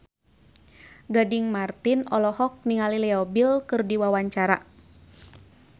Gading Marten olohok ningali Leo Bill keur diwawancara